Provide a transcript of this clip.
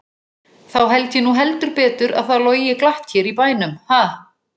Þá held ég nú heldur betur að það logi glatt hér í bænum, ha!